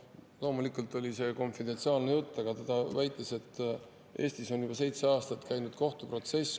Loomulikult oli see konfidentsiaalne jutt, aga ta väitis, et Eestis on juba seitse aastat käinud üks kohtuprotsess.